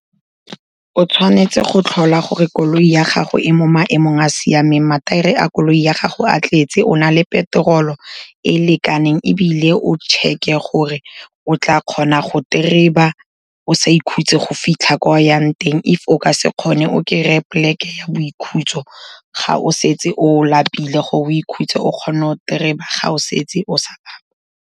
O tshwanetse go tlhola gore koloi ya gago e mo maemong a siameng, mathaere a koloi ya gago a tletse, o na le petrol-o e lekaneng ebile o check-e gore o tla kgona go o sa ikhutse, go fitlha kwa o yang teng, if o ka se kgone o kry-e plek-e ya boikhutso, ga o setse o lapile gore o ikhutse, o kgone go ga o setse o sa lapa.